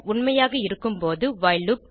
உண்மையாக இருக்கும் போது வைல் லூப்